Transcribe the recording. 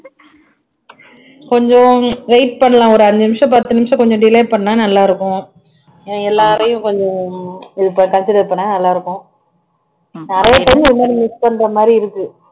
கொஞ்சம் wait பண்ணலாம் ஒரு அஞ்சு நிமிஷம் பத்து நிமிஷம் கொஞ்சம் delay பண்ணா நல்லா இருக்கும் எல்லாரையும் கொஞ்சம் consider பண்ணா நல்லா இருக்கும் நிறைய time இது மாதிரி miss பண்ற மாதிரி இருக்கு